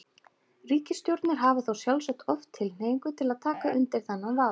Ríkisstjórnir hafa þá sjálfsagt oft tilhneigingu til að taka undir þennan vafa.